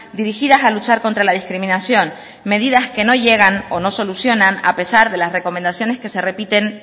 dirigidas a luchar contra la discriminación medidas que no llegan o no solucionan a pesar de las recomendaciones que se repiten